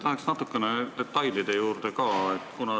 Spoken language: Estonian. Lähen natuke detailidesse ka.